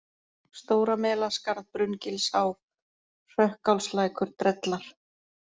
Stóra-Melaskarð, Brunngilsá, Hrökkálslækur, Drellar